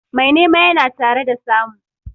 Mai nema yana tare da samu.